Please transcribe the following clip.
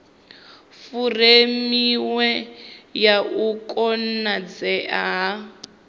furemiweke ya u konadzea ha